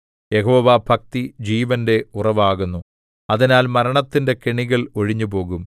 യഹോവാഭക്തി ജീവന്റെ ഉറവാകുന്നു അതിനാൽ മരണത്തിന്റെ കെണികൾ ഒഴിഞ്ഞുപോകും